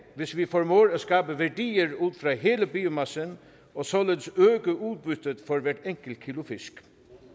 hvis vi formår at skabe værdier ud af hele biomassen og således øge udbyttet for hvert enkelt kilo fisk